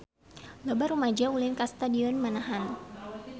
Loba rumaja ulin ka Stadion Manahan